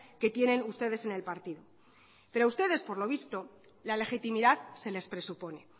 que tienen ustedes en el partido pero ustedes por lo visto la legitimidad se les presupone